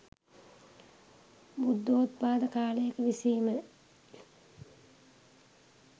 බුද්ධෝත්පාද කාලයක විසීම